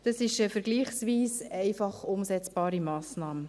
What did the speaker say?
Das ist eine vergleichsweise einfach umsetzbare Massnahme.